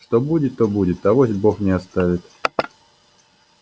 что будет то будет авось бог не оставит